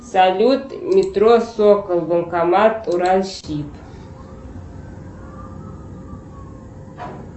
салют метро сокол банкомат уралсиб